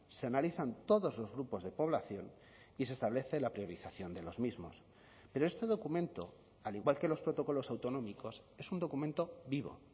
se analizan todos los grupos de población y se establece la priorización de los mismos pero este documento al igual que los protocolos autonómicos es un documento vivo